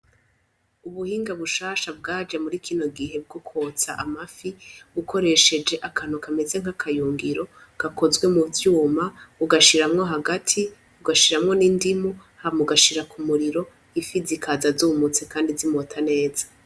Ubuhinga bushasha bwaje muri kino gihe bwo kotsa amafi ukoresheje akantu kameze nk'akayungiro gakozwe mu vyuma ugashiramwo hagati ugahiramwo n'indimu hama ugashiramwo ku umuriro ifi zikaza zumutse kandi zimota neza.